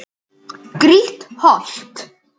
Grýtt holt.